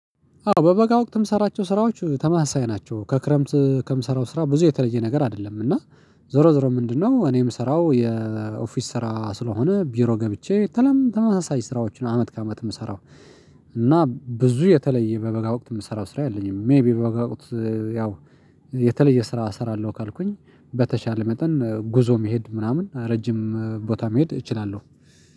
አዎ በበጋ ወቅት ምሰራቸው ስራዎች ተመሳሳይ ናቸው ከክረምት ከምሰራው ስራ ብዙ የተለየ ነገር አይደለም እና ዞሮ ዞሮ ምንድነው? እኔ የምሰራው የኦፊስ ስራ ስለሆነ ቢሮ ገብቼ ተለም ተመሳሳይ ስራዎችን አመት ከአመት የምሰራው እና ብዙ የተለየ በበጋ ወቅት የምሰራው ስራ የለኝም። ሜይቢ በበጋ ወቅት የተለየ ስራ እሰራለሁ። ካልኩኝ በተቻለ መጠን ጉዞ መሄድ ምናምን ረጅም ቦታ መሄድ እችላለሁ